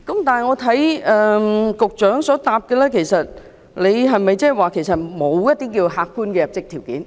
但是，局長在主體答覆中沒有提到加入客觀的入職條件。